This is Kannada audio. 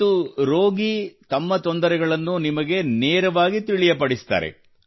ಮತ್ತು ರೋಗಿ ತಮ್ಮ ತೊಂದರೆಗಳನ್ನು ನಿಮಗೆ ನೇರವಾಗಿ ತಿಳಿಯಪಡಿಸುತ್ತಾರೆ